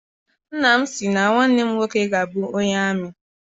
Nnam si na nwanne m nwoke ga abụ onye amị.